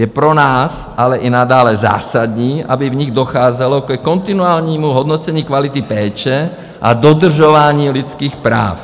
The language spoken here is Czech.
Je pro nás ale i nadále zásadní, aby v nich docházelo ke kontinuálnímu hodnocení kvality péče a dodržování lidských práv.